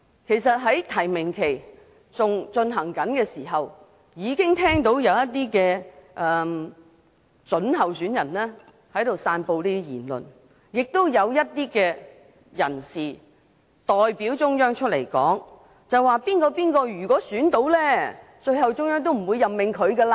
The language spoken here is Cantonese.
其實在提名期間，已經聽到一些準候選人在散布言論，也有一些代表中央的人士出來說，如果某人當選，中央最後都不會任命。